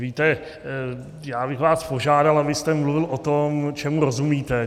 Víte, já bych vás požádal, abyste mluvil o tom, čemu rozumíte.